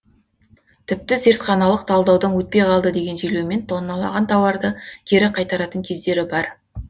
тіпті зертханалық талдаудан өтпей қалды деген желеумен тонналаған тауарды кері қайтаратын кездері бар